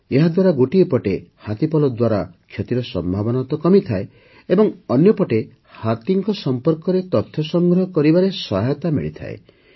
ଏହାଦ୍ୱାରା ଗୋଟିଏ ପଟେ ହାତୀପଲ ଦ୍ୱାରା କ୍ଷତିର ସମ୍ଭାବନା କମିଯାଏ ଏବଂ ଅନ୍ୟପଟେ ହାତୀଙ୍କ ସମ୍ପର୍କରେ ତଥ୍ୟ ସଂଗ୍ରହ କରିବାରେ ସହାୟତା ମିଳିଥାଏ